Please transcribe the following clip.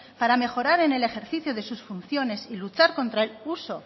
para mejorar en el ejercicio de sus funciones y luchar contra el uso